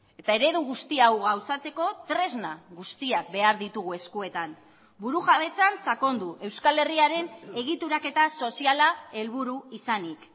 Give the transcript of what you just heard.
eta eredu guzti hau gauzatzeko tresna guztiak behar ditugu eskuetan burujabetzan sakondu euskal herriaren egituraketa soziala helburu izanik